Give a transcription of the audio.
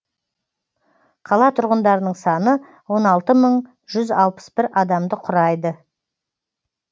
қала тұрғындарының саны он алты мың жүз алпыс бір адамды құрайды